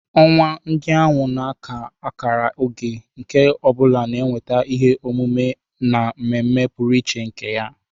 Ọnwa ndị ahụ na-aka akara oge, nke ọ bụla na-eweta ihe omume na mmemme pụrụ iche nke ya